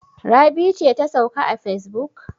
Rabi ce ta sauka a facebook?